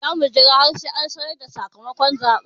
Za mu jira har sai an sanar da sakamakon zaɓen.